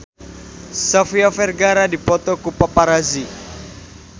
Sofia Vergara dipoto ku paparazi